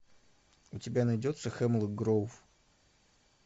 у тебя найдется хемлок гроув